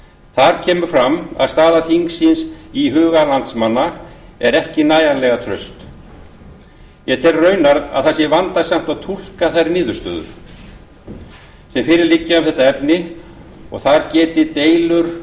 þar kemur fram að staða þingsins í huga landsmanna er ekki nægilega traust ég tel raunar að það sé vandasamt að túlka þær niðurstöður sem fyrir liggja um þetta efni og að þar geti deilur